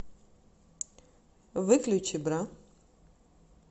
выключи бра